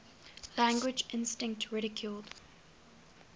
language instinct ridiculed